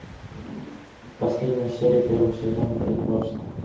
последняя серия первого сезона притворство